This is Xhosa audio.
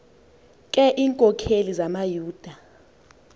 ke iinkokeli zamayuda